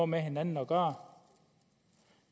med hinanden at gøre